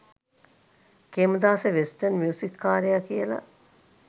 Khemadasa western music කාරයා කියලා.